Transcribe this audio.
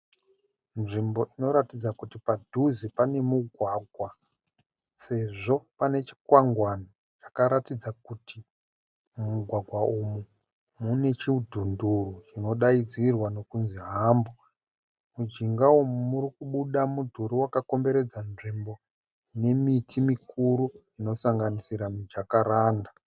Nzvimbo inoratidza kuti padhuze pane mugwagwa sezvo pane chikwangwani chakaratidza kuti mumugwagwa umu mune chidhunduru chinodaidzirwa nokunzi( hump). Mujinga umu murikubuda mudhuri wakakomberedza nzvimbo nemiti mikuru inosanganisira mijakaranda.